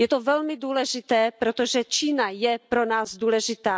Je to velmi důležité, protože Čína je pro nás důležitá.